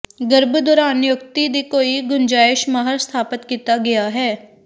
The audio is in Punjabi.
ਗਰਭ ਦੌਰਾਨ ਨਿਯੁਕਤੀ ਦੀ ਕੋਈ ਗੁੰਜਾਇਸ਼ ਮਾਹਰ ਸਥਾਪਿਤ ਕੀਤਾ ਗਿਆ ਹੈ